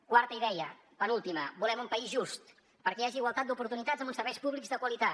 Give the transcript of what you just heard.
quarta idea penúltima volem un país just perquè hi hagi igualtat d’oportunitats amb uns serveis públics de qualitat